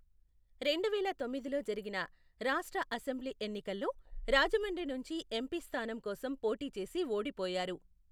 రెండువేల తొమ్మిదిలో జరిగిన రాష్ట్ర అసెంబ్లీ ఎన్నికల్లో రాజమండ్రి నుంచి ఎంపీ స్థానం కోసం పోటీ చేసి ఓడిపోయారు.